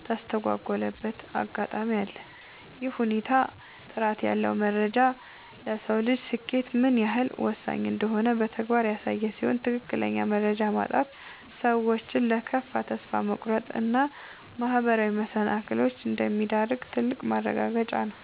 የተስተጓጎለበት አጋጣሚ አለ። ይህ ሁኔታ ጥራት ያለው መረጃ ለሰው ልጅ ስኬት ምን ያህል ወሳኝ እንደሆነ በተግባር ያሳየ ሲሆን፣ ትክክለኛ መረጃ ማጣት ሰዎችን ለከፋ ተስፋ መቁረጥ እና ማህበራዊ መሰናክሎች እንደሚዳርግ ትልቅ ማረጋገጫ ነው።